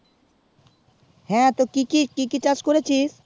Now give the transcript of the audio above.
হ্যাঁ তো কি কি চাষ করেছিস